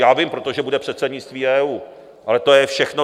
Já vím, protože bude předsednictví EU, ale to je všechno.